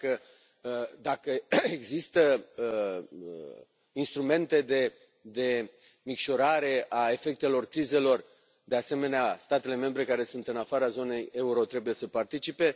Dacă există instrumente de micșorare a efectelor crizelor, de asemenea, statele membre care sunt în afara zonei euro trebuie să participe.